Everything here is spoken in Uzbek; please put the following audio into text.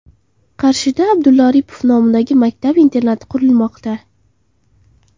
Qarshida Abdulla Oripov nomidagi maktab-internat qurilmoqda.